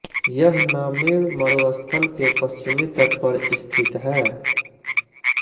यह नामीब मरुस्थल के पश्चिमी तट पर स्थित है